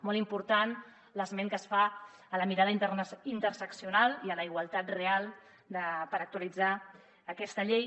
molt important l’esment que es fa a la mirada interseccional i a la igualtat real per actualitzar aquesta llei